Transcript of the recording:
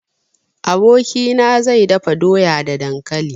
Abokina zai dafa doya da dankali.